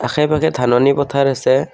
আশে পাশে ধাননি পথাৰ আছে।